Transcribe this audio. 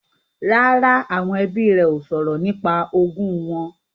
Rárá, àwọn ẹbí rẹ ó sọ̀rọ̀ nípa ogún wọn